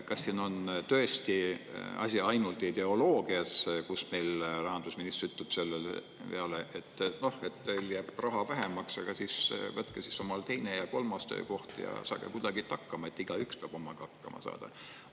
Kas siin on tõesti asi ainult ideoloogias, kus meil rahandusminister ütleb selle peale, et, noh, teil jääb raha vähemaks, aga siis võtke omal teine ja kolmas töökoht ja saage kuidagi hakkama, et igaüks peab omadega hakkama saama?